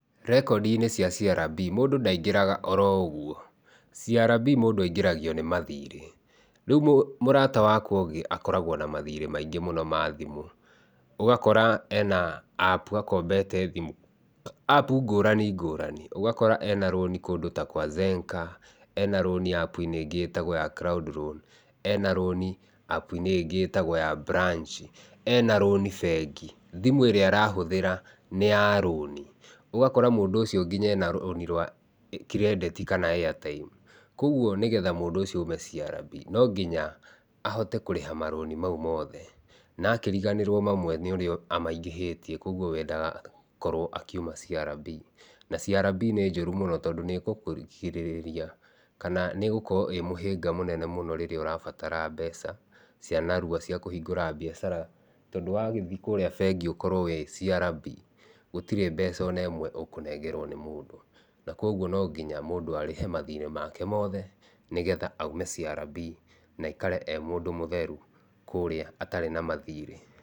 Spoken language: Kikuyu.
Rekondi-inĩ cia CRB mũndũ ndaingĩraga oro ũguo. CRB mũndũ aingĩragio nĩ mathirĩ. Rĩu mũrata wakwa ũngĩ akoragwo na mathirĩ maingĩ mũno ma thimũ. Ũgakora ena App akombete thimũ, App ngũrani ngũrani. Ũgakora ena rũni ta kwa Zenka, ena rũni App inĩ ĩngĩ ĩtagwo ya Cloud Loan, ena rũni App inĩ ĩngĩ ĩtagwo ya Branch, ena rũni bengi, thimũ ĩrĩa arahũthĩra nĩ ya rũni, ũgakora mũndũ ũcio ena rũni rwa credit kana airtime. Kwoguo nĩgetha mũndũ ũcio oime CRB no nginya ahote kũrĩha marũni mau mothe, na akĩriganĩrũo mamwe nĩ ũrĩa amaingĩhĩtie kwoguo we ndagakorũo akiuma CRB. Na CRB nĩ njũru mũno tondũ nĩ ĩgũkũgirĩrĩria kana nĩ ĩgũkorwo ĩĩ mũhĩnga mũnene mũno rĩrĩa ũrabatara mbeca cia narua cia kũhingũra biacara. Tondũ wagĩthiĩ kũrĩa bengi ukorũo wĩ CRB gũtirĩ mbeca ona ĩmwe ũkũnengerwo nĩ mũndũ. Na kwoguo no nginya mũndũ arĩhe mathirĩ make mothe nĩgetha oime CRB na aikare e mũtheru kũrĩa atarĩ na mathirĩ.